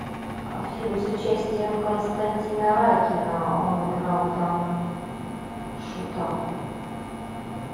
фильм с участием константина райкина он играл там шута